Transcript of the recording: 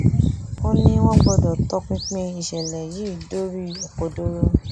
ó ní wọn gbọdọ tọpinpin ìṣẹlẹ yìí dórí òkodoro